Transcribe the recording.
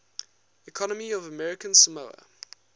economy of american samoa